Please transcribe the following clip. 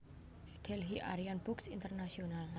Delhi Aryan Books International